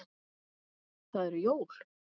Það eru jól.